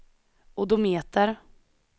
odometer